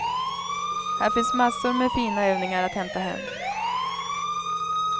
Här finns massor med fina övningar att hämta hem.